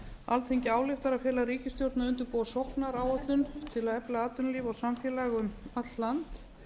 alþingi ályktar að fela ríkisstjórninni að undirbúa sóknaráætlun til að efla atvinnulíf og samfélag um allt land